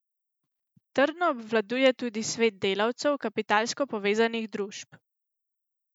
Trdno obvladuje tudi svet delavcev kapitalsko povezanih družb.